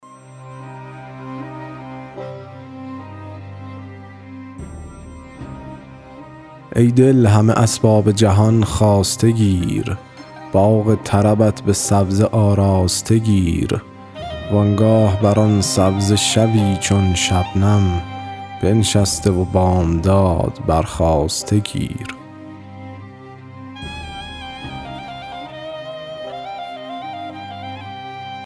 ای دل همه اسباب جهان خواسته گیر باغ طربت به سبزه آراسته گیر و آنگاه بر آن سبزه شبی چون شبنم بنشسته و بامداد برخاسته گیر